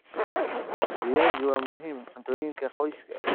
Viazi waa muhiim cuntooyinka qoyska.